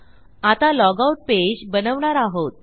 आता log out page बनवणार आहोत